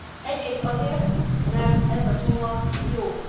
Egyrészt azért, mert ez a csomag jó.